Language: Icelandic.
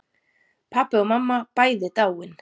Pabbi og mamma bæði dáin.